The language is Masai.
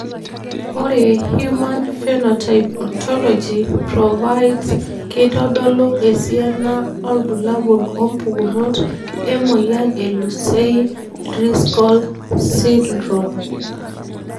Ore Human Phenotype Ontology provides keitodolu esiana obulabul wompukunot emoyian e Lucey Driscoll syndrome.